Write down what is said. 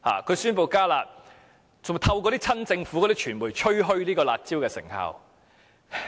他宣布"加辣"，更透過親政府的傳媒吹噓"辣招"的成效。